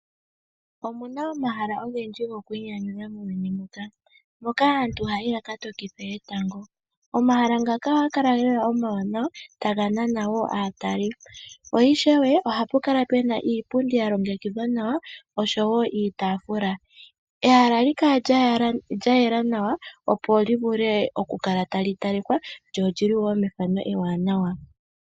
Omuna omahala ogendji goku inyanyudha muuyuni muka, ngoka aantu haya yi ya ka tokithe etango. Omahala ngaka ohaga kala lela omawanawa taga nana wo aataleli. Po ishewe ohapu kala pena iipundi ya longekidhwa nawa, oshowo iitafula. Ehala ohali kala lya yela nawa opo li vule okukala tali talikwa, lyo olyi li wo methano ewanawa.